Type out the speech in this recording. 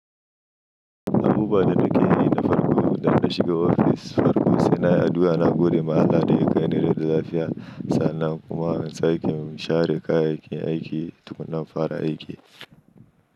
Abubuwa da farko idan na shiga ofis, sai nayyi addu'a nagode ma Allah daya kai ni rai da lafiya sannan kuma sai in share kayayyakin aiki tukuna in fara aiki.